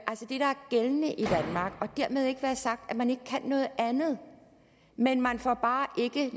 gældende i danmark dermed ikke være sagt at man ikke kan noget andet men man får bare ikke